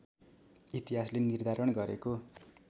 इतिहासले निर्धारण गरेको